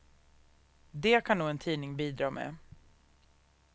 Det kan nog en tidning bidra med.